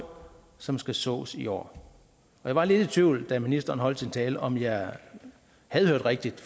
som skal sås i år jeg var lidt i tvivl da ministeren holdt sin tale om jeg havde hørt rigtigt